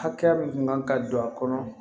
Hakɛya min kun kan ka don a kɔnɔ